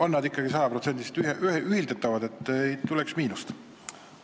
On need ikka sajaprotsendiliselt ühildatavad, et ei tuleks miinust?